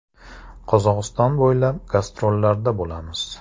Qozog‘iston bo‘ylab gastrollarda bo‘lamiz.